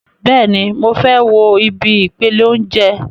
Bẹ́ẹ̀ni, mo fẹ́ wo ibi ìpele óúnjẹ